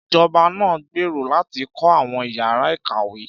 Ìjọba náà ń gbèrò láti kọ́ àwọn ìyára ìkàwé